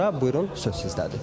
Buyurun, söz sizdədir.